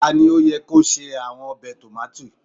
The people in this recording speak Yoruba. ti o yẹ ki o ṣe awọn tomati obe.